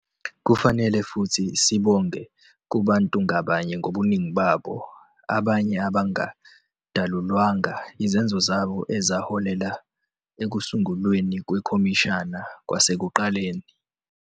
Kufanele futhi sibonge kubantu ngabanye ngobuningi babo, abanye abangadalulwanga, izenzo zabo ezaholela ekusungulweni kwekhomishana kwasekuqaleni.